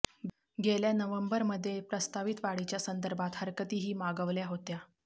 गेल्या नोव्हेंबरमध्ये प्रस्तावित वाढीच्या संदर्भात हरकतीही मागवल्या होत्या